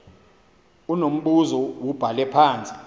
unombuzo wubhale apha